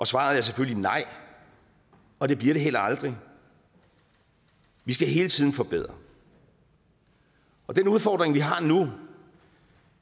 svaret er selvfølgelig nej og det bliver det heller aldrig vi skal hele tiden forbedre og den udfordring vi har nu